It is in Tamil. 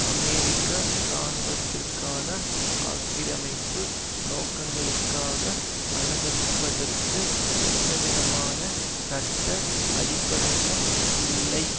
அமெரிக்க இராணுவத்திற்கான ஆக்கிரமிப்பு நோக்கங்களுக்காக அனுமதிப்பதற்கு எந்தவிதமான சட்ட அடிப்படையும் இல்லை